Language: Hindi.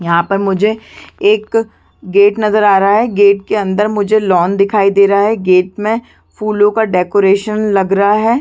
यहाँ पर मुझे एक गेट नजर आ रहा है गेट के अंदर मुझे लोन दिखाई दे रहा है गेट में फूलो का डेकोरेशन लग रहा है।